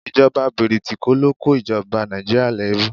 Ìjọba bìrìtìkó ló kó ìjoba Nàìjíríà lẹ́rú